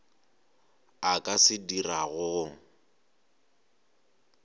a ka se dirago go